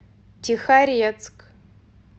тихорецк